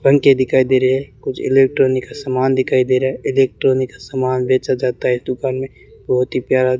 पंखे दिखाई दे रहे है कुछ इलेक्ट्रॉनिक्स का सामान दिखाई दे रहा है इलेक्ट्रॉनिक्स का समान बेचा जाता है इस दुकान में बहुत ही प्यारा--